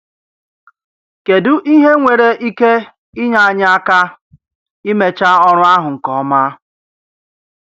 Kèdụ ihe nwere ike inyé anyị aka imecha ọrụ ahụ nke ọma?